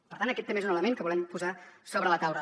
per tant aquest també és un element que volem posar sobre la taula